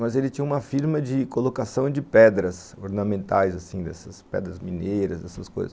Mas ele tinha uma firma de colocação de pedras ornamentais, pedras mineiras, essas coisas.